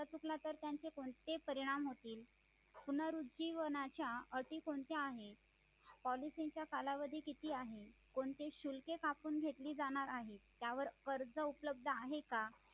हप्ता चुकला तर त्याचे कोणते परिणाम होतील पुनरावृत्ती व आशा अटी कोणत्या आहेत policy कालावधी किती आहेत कोणते शुल्के कापून घेतली जाणारआहे त्यावर कर्ज उपलब्ध आहे का